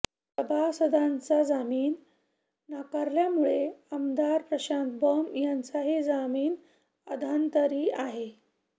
सभासदांचा जामीन नाकारल्यामुळे आमदार प्रशांत बंब यांचाही जामीन अधांतरी आहे